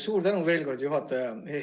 Suur tänu veel kord, juhataja!